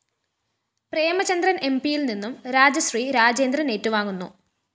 പ്രേമചന്ദ്രന്‍ എംപിയില്‍നിന്നും രാജശ്രീ രാജേന്ദ്രന്‍ ഏറ്റുവാങ്ങുന്നു